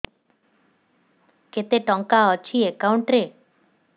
କେତେ ଟଙ୍କା ଅଛି ଏକାଉଣ୍ଟ୍ ରେ